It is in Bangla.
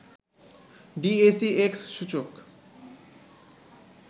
ডিএসইএক্স সূচক